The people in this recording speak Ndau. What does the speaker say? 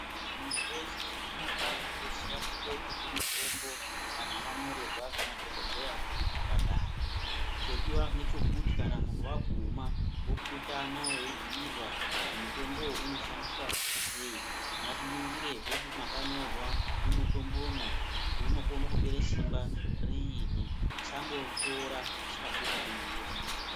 Muntu weshe zvino pano oziya kwekotenge mitombo kana wanyorerwa ngemadhokodheya kuchipatara chodiwa ngechekuti kana muntu waguma wopurutana weibhuyirwa kuti mutombo uyu unoshandiswa sei ngatiningirezve mwakanyorwa mumutombomwo kuti unokone kupere simba riini tisangotora tisikazi kuningira.